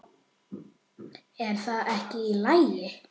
Er það ekki í lagi?